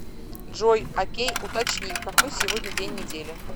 джой окей уточни какой сегодня день недели